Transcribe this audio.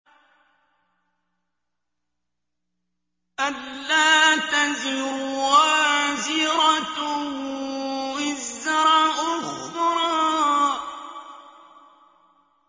أَلَّا تَزِرُ وَازِرَةٌ وِزْرَ أُخْرَىٰ